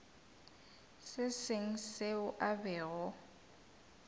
se sengwe seo a bego